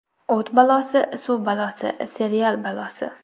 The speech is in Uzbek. O‘t balosi, suv balosi… Serial balosi?